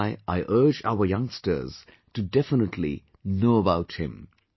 That is why I urge our youngsters to definitely know about him